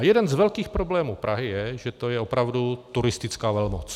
A jeden z velkých problémů Prahy je, že to je opravdu turistická velmoc.